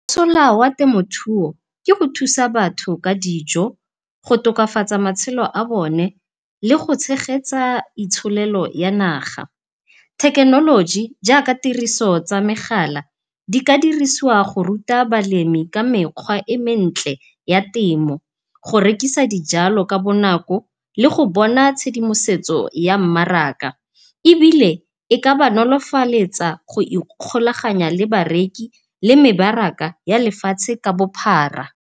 Mosola wa temothuo ke go thusa batho ka dijo go tokafatsa matshelo a bone le go tshegetsa itsholelo ya naga. Thekenoloji jaaka tiriso tsa megala di ka dirisiwa go ruta balemi ka mekgwa e mentle ya temo, go rekisa dijalo ka bonako le go bona tshedimosetso ya mmaraka. Ebile e ka ba nolofaletsa go ikgolaganya le bareki le mebaraka ya lefatshe ka bophara.